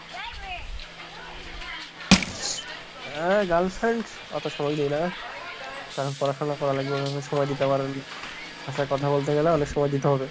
হ্যাঁ girlfriend অত সময় দিই না কারণ পড়াশোনা করা লাগবে, সময় দিতে পারেন তার সাথে কথা বলতে গেলে অনেক সময় দিতে হবে